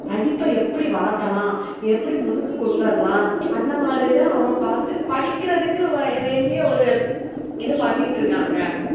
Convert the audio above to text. படிப்ப எப்டி வளக்கலாம் எப்டி முன்னுக்கு கொண்டுவரலாம் அந்த மாதிரி தான் அவுங்க பாத்து படிக்குறதுக்கு வேண்டிய ஒரு இத பன்னிட்டு இருக்காங்க